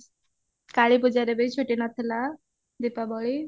କାଳୀ ପୂଜାରେ ବି ଛୁଟି ନଥିଲା ଦୀପାବଳି